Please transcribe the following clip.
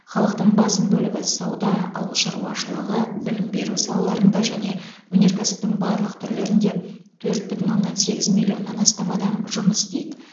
халықтың басым бөлігі сауда ауыл шаруашылығы білім беру салаларында және өнеркәсіптің барлық түрлерінде төрт бүтін оннан сегіз миллионнан астам адам жұмыс істейді